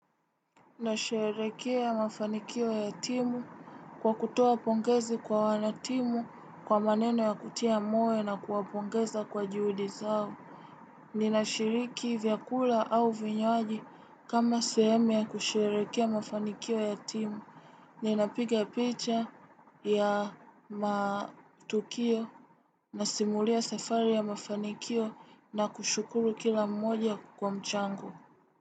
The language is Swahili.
Na sherehekea mafanikio ya timu kwa kutoa pongezi kwa wanatimu kwa maneno ya kutia moyo na kuapongeza kwa juhudi zao. Ninashiriki vyakula au vinywaji kama sehemu ya kusherekea ya mafanikio ya timu. Ninapiga picha ya matukio na simulia safari ya mafanikio na kushukuru kila mmoja kwa mchango.